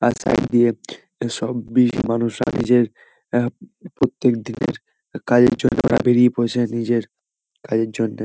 তার সাইড দিয়ে সব বিজি মানুষরা নিজের অ্যা প্রত্যেক দিনের কাজের জন্য ওরা বেড়িয়ে পড়ছে। নিজের কাজের জন্যে--